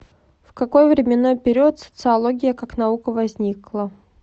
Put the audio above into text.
в какой временной период социология как наука возникла